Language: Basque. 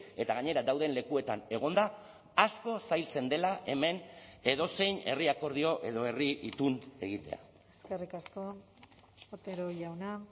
eta gainera dauden lekuetan egonda asko zailtzen dela hemen edozein herri akordio edo herri itun egitea eskerrik asko otero jauna